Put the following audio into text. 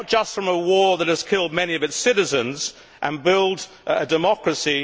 from a war that has killed many of its citizens and build a democracy